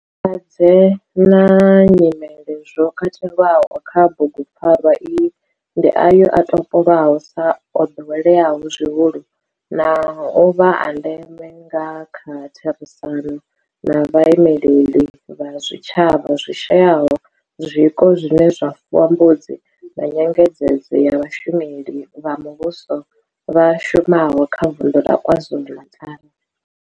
Malwadze na nyimele zwo katelwaho kha bugu pfarwa iyi ndi ayo o topolwaho sa o doweleaho zwihulu na u vha a ndeme nga kha therisano na vhaimeleli vha zwitshavha zwi shayaho zwiko zwine zwa fuwa mbudzi na nyengedzedzo ya vhashumeli vha muvhusho vha shumaho kha Vundu la KwaZulu-Natal.